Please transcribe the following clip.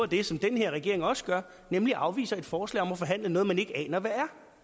det som den her regering også gør nemlig at afvise et forslag om at forhandle om noget man ikke aner hvad